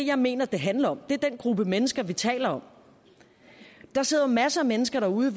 jeg mener det handler om det er den gruppe mennesker vi taler om der sidder masser af mennesker derude